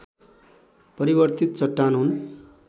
परिवर्तित चट्टान हुन्